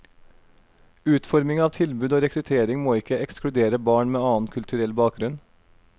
Utforming av tilbud og rekruttering må ikke ekskludere barn med annen kulturell bakgrunn.